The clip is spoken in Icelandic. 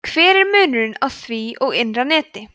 hver er munurinn á því og innra neti